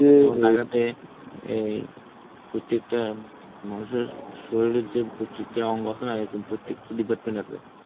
যেমন ঢাকাতে অ্যাঁ এই প্রত্যেকটা মানুষের শরীরের যে প্রত্যেকটা অঙ্গ আছে না এরকম প্রত্যেকটা department আছে.